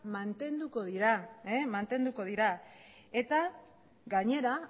mantenduko dira eta gainera